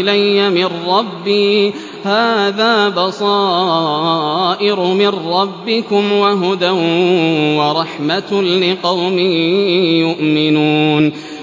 إِلَيَّ مِن رَّبِّي ۚ هَٰذَا بَصَائِرُ مِن رَّبِّكُمْ وَهُدًى وَرَحْمَةٌ لِّقَوْمٍ يُؤْمِنُونَ